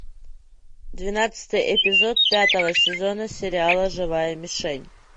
двенадцатый эпизод пятого сезона сериала живая мишень